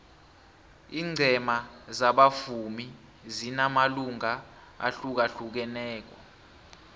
ingcema zabavumi zinamalunga ahlukahlukaneko